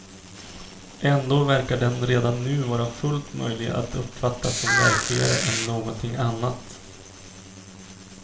Ändå verkar den redan nu vara fullt möjlig att uppfatta som verkligare än någonting annat.